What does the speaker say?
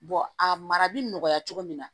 a mara bi nɔgɔya cogo min na